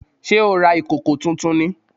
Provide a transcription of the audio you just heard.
Sé o ra ìkòkò tuntun ni?